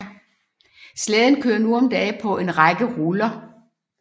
Slæden kører nu om dage på en række ruller